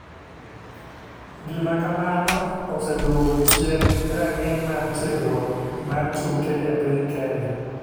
Gima kamano oseduogo chien ranginy mar tiegruok mar tuke e piny kenya.